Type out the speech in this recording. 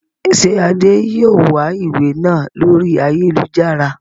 Ṣé Adé yìí ó wà ìwé náà lórí ayélujára?